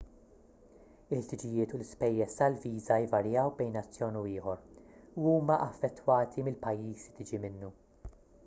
il-ħtiġijiet u l-ispejjeż tal-viża jvarjaw bejn nazzjon u ieħor u huma affettwati mill-pajjiż li tiġi minnu